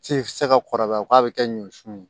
Se tɛ se ka kɔrɔbaya k'a bɛ kɛ ɲɔsun ye